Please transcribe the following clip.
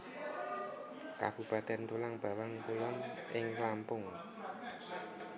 Kabupatèn Tulang Bawang Kulon ing Lampung